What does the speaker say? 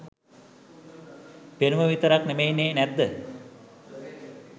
පෙනුම විතරක් නෙමෙයිනේ නැද්ද?